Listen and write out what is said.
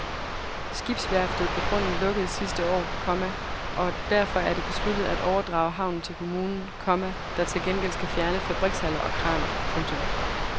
Skibsværftet på grunden lukkede sidste år, komma og derfor er det besluttet af overdrage havnen til kommunen, komma der til gengæld skal fjerne fabrikshaller og kraner. punktum